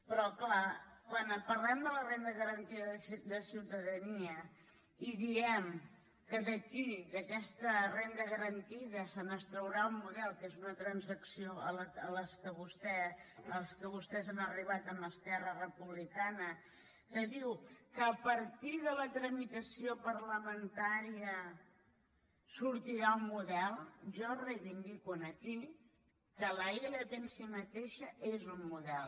però clar quan parlem de la renda garantida de ciutadania i diem que d’aquí d’aquesta renda garantida se n’extraurà un model que és una transacció a què vostès han arribat amb esquerra republicana que diu que a partir de la tramitació parlamentària sortirà un model jo reivindico aquí que la ilp en si mateixa és un model